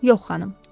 Yox, xanım.